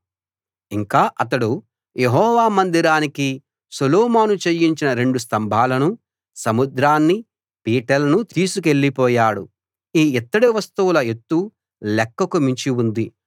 ఇంకా అతడు యెహోవా మందిరానికి సొలొమోను చేయించిన రెండు స్తంభాలనూ సముద్రాన్నీ పీటలనూ తీసుకెళ్లిపోయాడు ఈ ఇత్తడి వస్తువుల ఎత్తు లెక్కకు మించి ఉంది